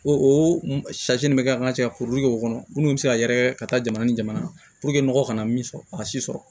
O o nin bɛ kɛ an ka cɛkuru kɔnɔ minnu bɛ se ka yɛrɛkɛ ka taa jamana ni jamana kan nɔgɔ kana min sɔrɔ a si sɔrɔ